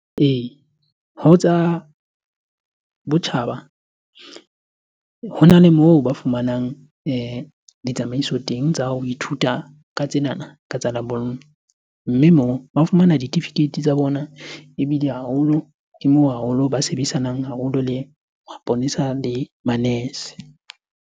Ee, ho tsa botjhaba hona le moo ba fumanang ditsamaiso teng tsa hao ho ithuta ka tsenana, ka tsa lebollo. Mme moo ba fumana ditifikeiti tsa bona ebile haholo, ke moo haholo ba sebedisanang haholo le maponesa le manese.